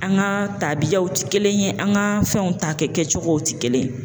An ka taabiyaw tɛ kelen ye an ka fɛnw takɛ kɛcogow tɛ kelen ye.